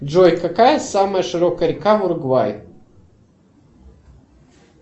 джой какая самая широкая река в уругвае